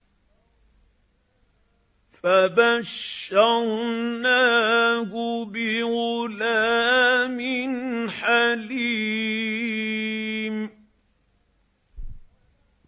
فَبَشَّرْنَاهُ بِغُلَامٍ حَلِيمٍ